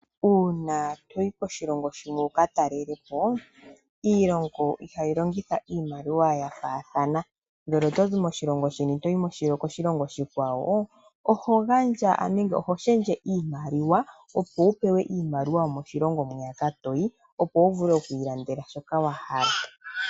Uuna toyi koshilongo shimwe uka talelepo, iilongo ihayi longitha iimaliwa ya faathana. Ngele otozi koshilongo shimwe toyi koshilongo oshikwawo, oho shendje iimaliwa, opo upewe iimaliwa yomoshilongo moka toyi opo wuvule okwiilandela shoka wa hala.